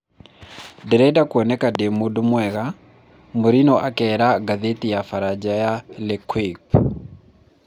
Ndirenda kuoneka ndĩ mũndũ mwega, Murinho akeera ngathĩti ya baranja L'Equipe